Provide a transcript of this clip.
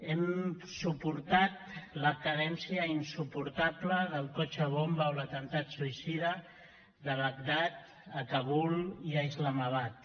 hem suportat la cadència insuportable del cotxe bomba o l’atemptat suïcida a bagdad a kabul i a islamabad